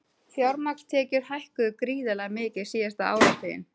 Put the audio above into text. Fjármagnstekjur hækkuðu gríðarlega mikið síðasta áratuginn